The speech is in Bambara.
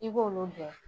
I b'olu bɔ